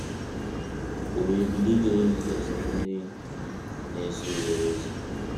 O wee bilie ijere Jizọs na ndị na-eso ụzọ ya ozi.